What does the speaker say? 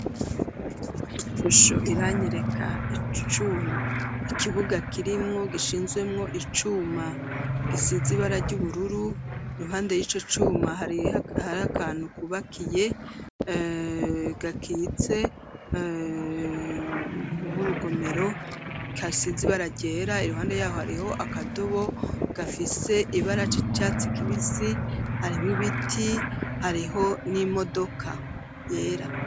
Musho iranyereka icuma ikibuga kirimwo gishinzwemwo icuma gisizibara ry'ubururu muhande y'ico cuma harihari akantu kubakiye gakitse nk'urugomero ka sizi ibararyeye era i ruhande yaho hariho akadubo gafise ibarac' catsi kibisi harimwo ibiti hariho n'imodoka yera.